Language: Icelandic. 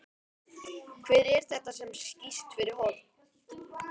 Hver er þetta sem skýst fyrir horn?